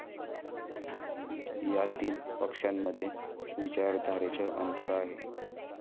या तीन पक्षांमध्ये विचारधारेचं अंतर आहे.